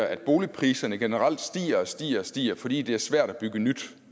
at boligpriserne generelt stiger og stiger stiger fordi det er svært at bygge nyt